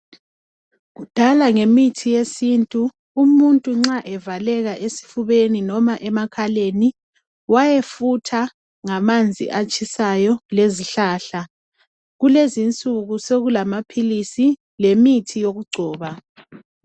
Kudala ngemithi yesintu umuntu nxa evaleka esifubeni noma emakhaleni wayefutha ngamanzi atshisayo lezihlahla, kulezi insuku sokulamaphilisi lemithi yokugcoba.